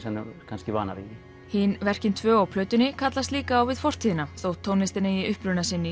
kannski vanari því hin verkin tvö á plötunni kallast líka á við fortíðina þótt tónlistin eigi uppruna sinn í